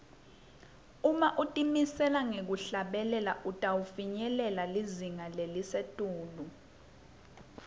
uma utimisele ngekuhlabela utawufinyelela lizinga lelisetulu